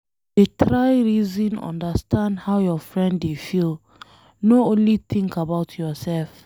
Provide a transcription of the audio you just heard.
Dey try reason understand how your friend dey feel, no only think about yourself.